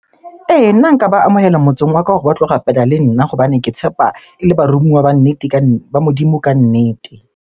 Ee, nna nka ba amohela motseng wa ka hore ba tlo rapela le nna hobane ke tshepa ele baromuwa ba nnete ba Modimo kannete.